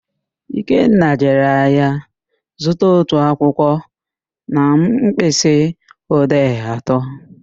Ikenna jere ahịa zụta otu akwụkwọ na mkpịsị odee atọ